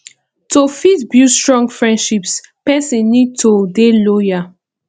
to fit build strong friendships person need to dey loyal